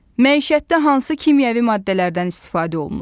Məişətdə hansı kimyəvi maddələrdən istifadə olunur?